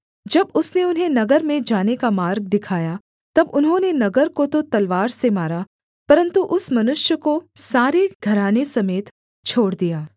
जब उसने उन्हें नगर में जाने का मार्ग दिखाया तब उन्होंने नगर को तो तलवार से मारा परन्तु उस मनुष्य को सारे घराने समेत छोड़ दिया